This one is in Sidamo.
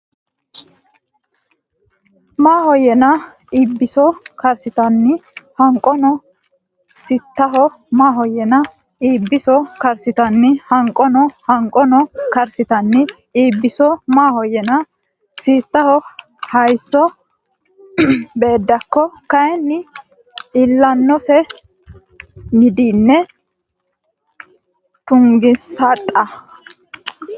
Maahoyyena Eebbiso karsitanni Hanqono siittaho Maahoyyena Eebbiso karsitanni Hanqono Hanqono karsitanni Eebbiso Maahoyyena siittaho hayisso Beeddakko kayinni iillannose middine tuggensaxa !